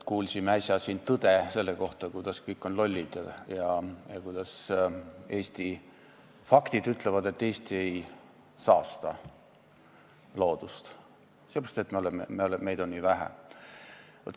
Kuulsime siin äsja sellist tõde, et kõik on lollid ja faktid ütlevad, et Eesti ei saasta loodust, sest meid on nii vähe.